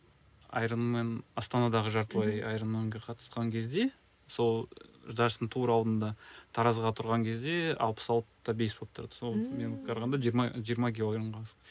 аэромен астанадағы жартылай аэроменге қатысқан кезде сол жарыстың тура алдында таразыға тұрған кезде алпыс алты да бес болып тұрды сол мен қарағанда жиырма жиырма килограмға